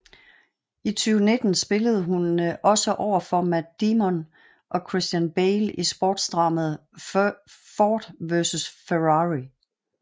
I 2019 spillede hun også overfor Matt Damon og Christian Bale i sportsdramaet Ford v Ferrari